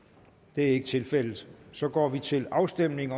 det er ikke tilfældet så går vi til afstemning